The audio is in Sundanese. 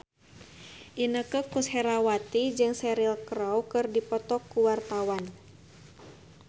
Inneke Koesherawati jeung Cheryl Crow keur dipoto ku wartawan